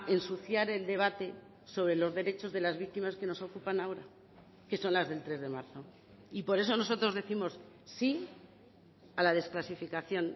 ensuciar el debate sobre los derechos de las víctimas que nos ocupan ahora que son las del tres de marzo y por eso nosotros décimos sí a la desclasificación